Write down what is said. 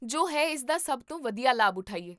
ਜੋ ਹੈ ਇਸ ਦਾ ਸਭ ਤੋਂ ਵਧੀਆ ਲਾਭ ਉਠਾਈਏ